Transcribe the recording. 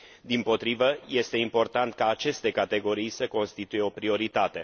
Dimpotrivă, este important ca aceste categorii să constituie o prioritate.